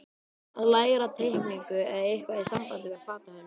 Að læra teikningu eða eitthvað í sambandi við fatahönnun.